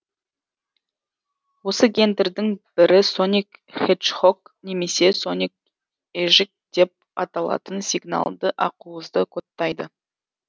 осы гендердің бірі соник хеджхог немесе соник ежик деп аталатын сигналды ақуызды кодтайды